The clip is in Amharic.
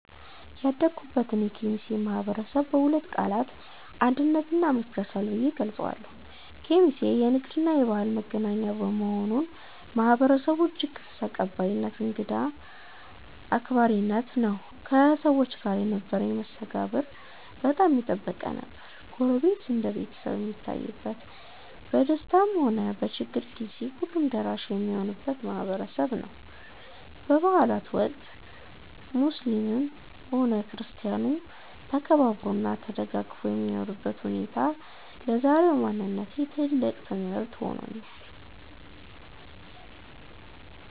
ያደኩበትን የኬሚሴ ማህበረሰብ በሁለት ቃላት "አንድነት" እና "መቻቻል" ብዬ እገልጸዋለሁ። ኬሚሴ የንግድና የባህል መገናኛ በመሆኗ፣ ማህበረሰቡ እጅግ ክፍት፣ ተቀባይና እንግዳ አክባሪ ነው። ከሰዎች ጋር የነበረኝ መስተጋብር በጣም የጠበቀ ነበር። ጎረቤት እንደ ቤተሰብ የሚታይበት፣ በደስታም ሆነ በችግር ጊዜ ሁሉም ደራሽ የሚሆንበት ማህበረሰብ ነው። በበዓላት ወቅት (እንደ ዒድ እና አረፋ) ሙስሊሙም ሆነ ክርስቲያኑ ተከባብሮና ተደጋግፎ የሚኖርበት ሁኔታ ለዛሬው ማንነቴ ትልቅ ትምህርት ሆኖኛል።